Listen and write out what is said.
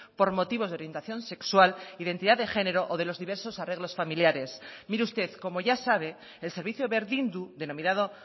por motivos de orientación sexual identidad de género o de los diversos arreglos familiares mire usted como ya sabe el servicio berdindu denominado